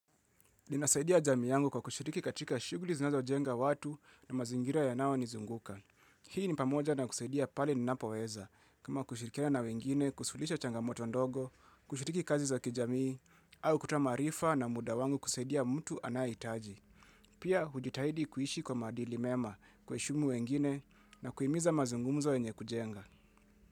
Ninasaidia jamii yangu kwa kushiriki katika shughuli zinazojenga watu na mazingira yanaonizunguka. Hii ni pamoja na kusaidia pale ninapoweza kama kushirikiana na wengine, kusuluhisha changamoto ndogo, kushiriki kazi za kijamii, au kutoa maarifa na muda wangu kusaidia mtu anayehitaji. Pia hujitahidi kuishi kwa maadili mema, kuheshimu wengine na kuhimiza mazungumzo yenye kujenga.